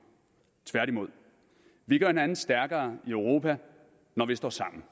tværtimod vi gør hinanden stærkere i europa når vi står sammen